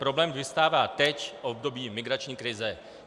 Problém vyvstává teď, v období migrační krize.